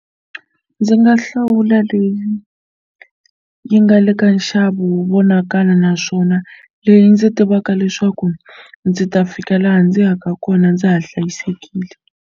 Ndzi nga hlawula leyi yi nga le ka nxavo wu vonakala naswona leyi ndzi tivaka leswaku ndzi ta fika laha ndzi yaka kona ndza ha hlayisekile.